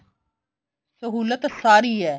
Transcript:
ਸਹੁਲਤ ਸਾਰੀ ਐ